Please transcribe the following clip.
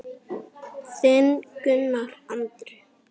Þinn Gunnar Andri.